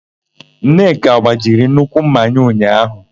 Nneka gbajiri nnukwu ḿmà ha ụnyaahụ.